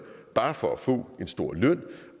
bare for at få en stor løn